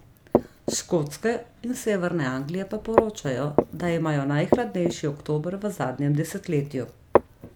S Škotske in severne Anglije pa poročajo, da imajo najhladnejši oktober v zadnjem desetletju.